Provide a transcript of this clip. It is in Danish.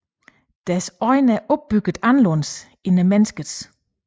Deres øje er opbygget anderledes end menneskets